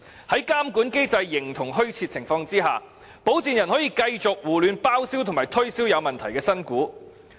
在監管機制形同虛設的情況下，保薦人可以繼續胡亂包銷及推銷有問題的新股。